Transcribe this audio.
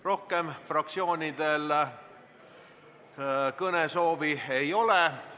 Rohkem fraktsioonidel kõnesoove ei ole.